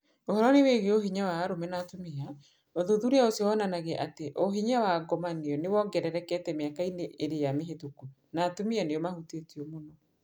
Ũhoro-inĩ wĩgiĩ ũhinya wa arũme na atumia, ũthuthuria ũcio wonanagia atĩ ũhinya wa ngomanio nĩ wongererekete mĩaka-inĩ ĩrĩa mĩhĩtũku, na atumia nĩo mahutĩtwo mũno.